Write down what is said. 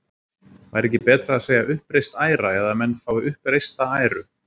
Væri ekki betra að segja uppreist æra eða að menn fái uppreista æru?